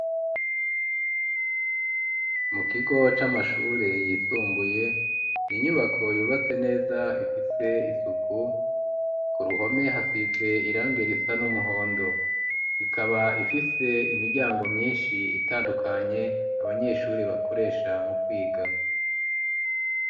Mu kigo c'amashure yisumbuye inyubako yubatse neza ifise isuku ku ruhome hasize irangi risa n'umuhondo ikaba ifise imiryango myinshi itandukanye abanyeshuri bakoresha mu kwiga.